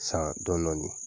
San dɔɔnin dɔɔnin